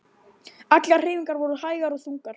Allar hreyfingar voru hægar og þungar.